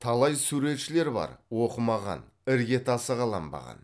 талай суретшілер бар оқымаған іргетасы қаланбаған